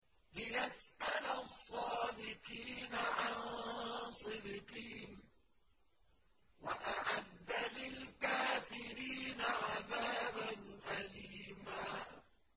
لِّيَسْأَلَ الصَّادِقِينَ عَن صِدْقِهِمْ ۚ وَأَعَدَّ لِلْكَافِرِينَ عَذَابًا أَلِيمًا